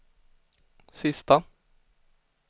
sista